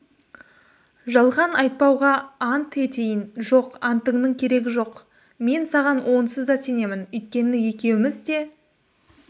жалған айтпауға ант етейін жоқ антыңның керегі жоқ мен саған онсыз да сенемін өйткені екеуміз де